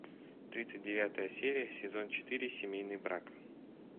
тридцать девятая серия сезон четыре семейный брак